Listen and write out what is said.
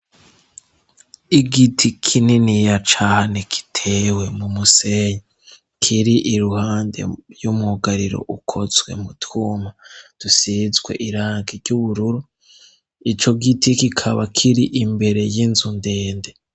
Igiti kininiya cane kitewe mu musenyi, kiri iruhande y'umwugariro ukozwe mu twuma, dusizwe irangi ry'ubururu, ico giti kikaba kiri imbere y'inzu ndende.